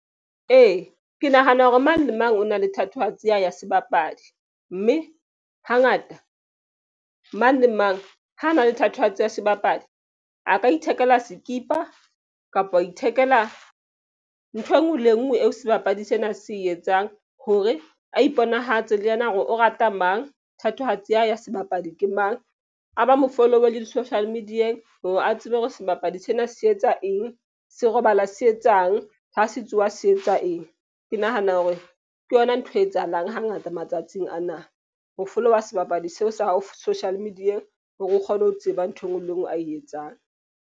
Ee, ke nahana hore mang le mang o na le thatohatsi ya hae ya sebapadi. Mme hangata mang le mang ha na le thatohatsi ya sebapadi a ka ithekela sekipa kapo a ithekela ntho e nngwe le e nngwe eo sebapadi sena se etsang. Hore a iponahatse le yena hore o rata mang thatohatsi ya hae ya sebapadi ke mang. A ba mo follow-e le di-social media-eng hore a tsebe hore sebapadi sena se etsa eng? Se robala se etsang ha se tsoha se etsa eng? Ke nahana hore ke yona ntho e etsahalang hangata matsatsing ana. Ho follow-a sebapadi seo sa hao social media-eng hore o kgone ho tseba ntho e nngwe le e nngwe a e etsang.